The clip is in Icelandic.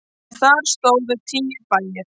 En þar stóðu tíu bæir.